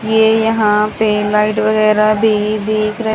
ये यहां पे लाइट वगैराह भी दिख रह--